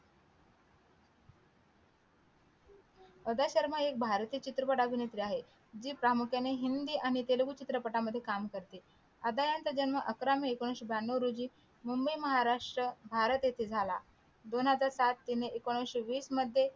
अद्य शर्मा एक भारतीय चित्रपट अभनेत्री आहे जी प्रामुख्याने हिंदी आणि तेलगू चित्रपटां मध्ये काम करते आद्या चा जन्म अकरा मे एकोणविशे ब्यांनो रोजी मुंबई महाराष्ट्र भारत येथे झाला दोन हजार सात हिने एकोणविशे वीस मध्ये